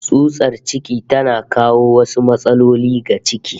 Tsutsar ciki tana kawo wasu matsaloli ga ciki